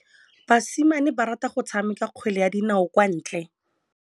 Basimane ba rata go tshameka kgwele ya dinaô kwa ntle.